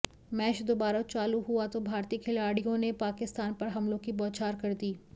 match दुबारा चालू हुआ तो भारतीय खिलाड़ियों ने पाकिस्तान पर हमलों की बौछार कर दी